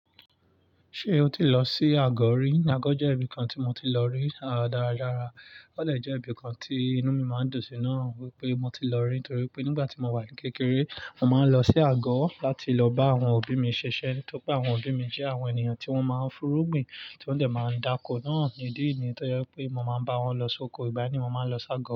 Ṣé o ti lọ sí àgọ̀ rí? Àgọ̀ jẹ́ ibìkan tí mo ti lọ rí dáradára. Ó de jẹ́ ibìkan tí inú mi máa ń dùn sí náà wípé mo ti lọ rí, torí pé nígbà tí mo wà ní kékeré, mo màá ń lọ sí àgọ̀ láti lọ bá àwọn òbí mi ṣiṣẹ́. Nítorí pé àwọn òbí mi jẹ́ àwọn ènìyàn tí wọ́n máa ń f'úrú gbin, tí wọ́n dẹ̀ máa ń dáko náà idi e niyen Tọ́je pé mo máa ń bá wọn lọ sóko, ìgbà mí mo máa ń lọ sí àgọ̀